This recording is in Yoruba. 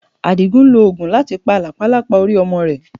Àdìgún ń lo oògùn láti pa làpálàpá orí ọmọ rẹ̀.